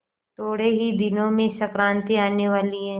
थोड़े ही दिनों में संक्रांति आने वाली है